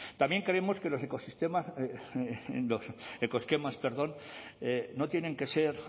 también creemos que los ecosistemas ecoesquemas perdón no tienen que ser